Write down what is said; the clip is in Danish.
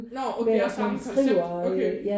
Nårh og det er samme koncept okay